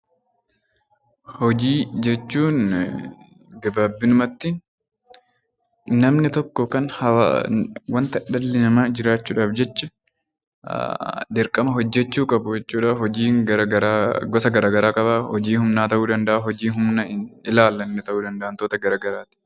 Hojii jechuun gabaabinumatti namni tokko yookaan waanta dhalli namaa jiraachuudhaaf jecha dirqama hojjechuu qabu jechuudha. Hojiin gara garaa gosa gara garaa qaba. Hojii humnaa ta'uu danda'a, hojii humna hin ilaallanne ta'uu danda'a wantoota gara garaati.